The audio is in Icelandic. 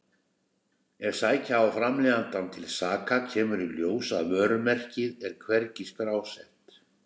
Ef sækja á framleiðandann til saka kemur í ljós að vörumerkið er hvergi skrásett.